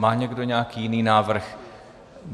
Má někdo nějaký jiný návrh?